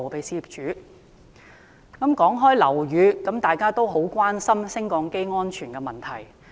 提及樓宇，大家都很關注升降機安全的問題。